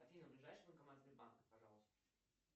афина ближайший банкомат сбербанка пожалуйста